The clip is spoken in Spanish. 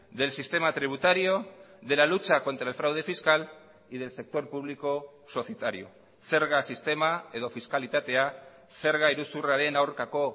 del sistema tributario de la lucha contra el fraude fiscal y del sector público societario zerga sistema edo fiskalitatea zerga iruzurraren aurkako